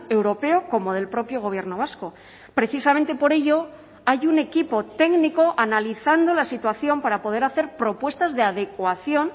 europeo como del propio gobierno vasco precisamente por ello hay un equipo técnico analizando la situación para poder hacer propuestas de adecuación